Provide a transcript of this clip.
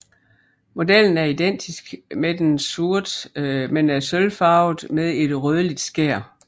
Modellen er identisk med den sorte men er sølvfarvet med et rødligt skær